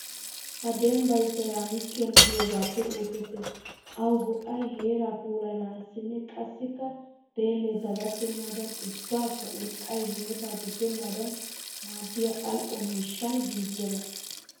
Ha dembbay seeraamikiyan giyogaappe oosettes. Awu go'ay booraa puulayanaassinne qassikka deelle dagattennaadan ubbakka urqqay hametaa diggennaadan maaddiya al'o miishshan giigiyagaa.